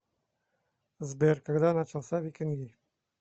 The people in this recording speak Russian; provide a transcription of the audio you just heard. сбер когда начался викинги